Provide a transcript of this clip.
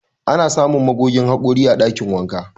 Ana samun magogin haƙori a ɗakin wanka.